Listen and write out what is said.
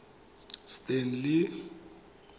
stanley